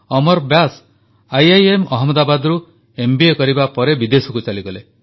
ଅମର Vyas IIM ଅହମଦାବାଦରୁ MBA କରିବା ପରେ ବିଦେଶକୁ ଚାଲିଗଲେ